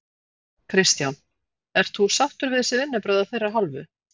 Kristján: Ert þú sáttur við þessi vinnubrögð af þeirra hálfu?